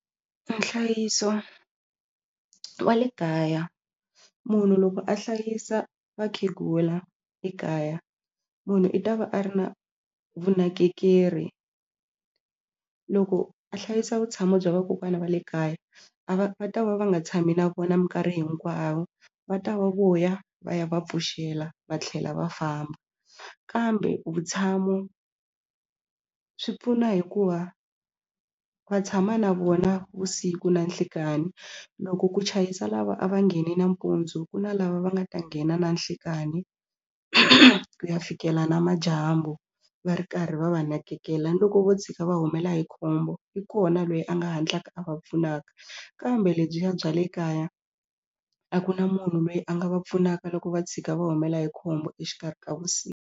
Nhlayiso wa le kaya munhu loko a hlayisa vakhegula le kaya munhu i ta va a ri na vunakekeri loko a hlayisa vutshamo bya vakokwana va le kaya a va va ta va va nga tshami na vona minkarhi hinkwavo va ta va vuya va ya va pfuxela va tlhela va famba kambe vutshamo swi pfuna hikuva va tshama na vona vusiku na nhlikani loko ku chayisa lava a va nghene nampundzu ku na lava va nga ta nghena na nhlikani ku ya fikela namadyambu va ri karhi va va nakekela ni loko vo tshika va humela hi khombo i kona lweyi a nga hatlaka a va pfunaka kambe lebyiya bya le kaya a ku na munhu loyi a nga va pfunaka loko va tshika va humela hi khombo exikarhi ka .